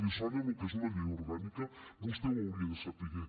li sona lo que és una llei orgànica vostè ho hauria de saber